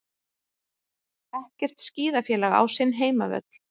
Ekkert skíðafélag á sinn heimavöll